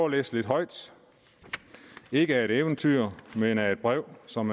at læse lidt højt ikke af et eventyr men af et brev som